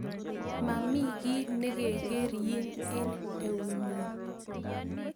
Mami kei nekekeryin eng nyu